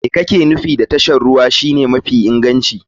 Me kake nufi da tashar ruwa shine mafi inganci?